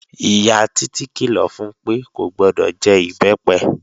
Ìyá Títí kìlọ̀ fun pé kò gbọdọ̀ jẹ Ìbẹ́pẹ